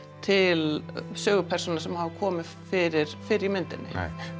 til sögupersóna sem hafa komið fyrir fyrr í myndinni